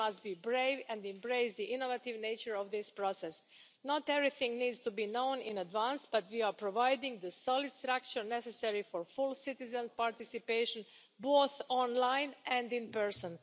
We must be brave and embrace the innovative nature of this process. Not everything needs to be known in advance, but we are providing the solid structure necessary for full citizen participation, both online and in person.